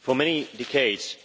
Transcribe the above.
For many decades